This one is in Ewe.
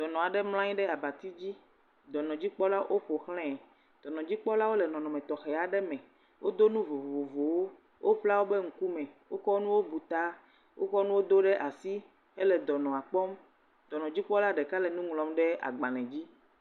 Dɔnɔa ɖe mlɔanyi ɖe abati dzi, dɔnɔ dzikpɔlawo oƒoxlē, dɔnɔ dzikpɔlawo le nɔnɔme tɔxea ɖe me, wo do nu vovovowo, wo bla wo be ŋukume, o kɔ nuwo bu ta, o kɔ nuwo do ɖe asi ele dɔnɔa kpɔm, dɔnɔ dzikpɔla ɖeka le nu ŋlɔm ɖe agbalē dzi.